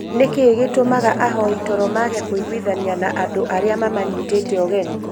Nĩkĩĩ gĩtũmaga ahoi toro maage kũiguithania na andũ arĩa mamanyitĩte ũgeni